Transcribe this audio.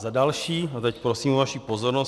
Za další - a teď prosím o vaši pozornost.